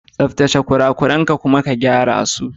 Tsaftace kurakuran ka kuma ka gyara su.